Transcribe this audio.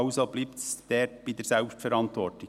Also bleibt es bei der Eigenverantwortung.